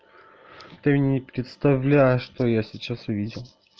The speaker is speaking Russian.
ты не представляешь что я сейчас увидел